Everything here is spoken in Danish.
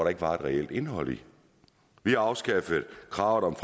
ikke var et reelt indhold i vi har afskaffet kravet om